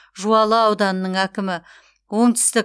жуалы ауданының әкімі оңтүстік